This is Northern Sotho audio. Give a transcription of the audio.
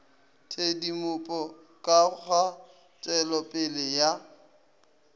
tshedimopo ka ga tpwelopele ya